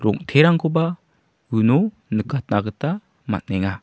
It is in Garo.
rong·terangkoba uno nikatna gita man·enga.